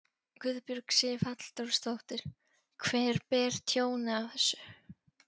Guðbjörg Sif Halldórsdóttir: Hver ber tjónið af þessu?